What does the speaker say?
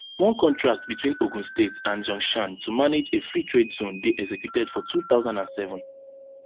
one contract between ogun state and zhongshan to manage a freetrade zone dey executed for two thousand and seven